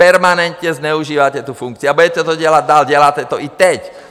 Permanentně zneužíváte tu funkci a budete to dělat dál, děláte to i teď.